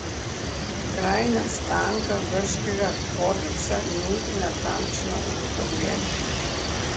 Kraj nastanka grškega kodeksa ni natančno ugotovljen.